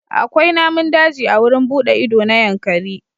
Akwai namun daji a wurin buɗe ido na Yankari.